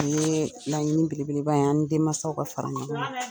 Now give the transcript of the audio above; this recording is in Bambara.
O ye laɲini belebeleba ye an ni denmansaw ka fara ɲɔgɔn kan